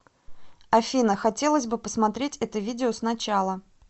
афина хотелось бы посмотреть это видео сначала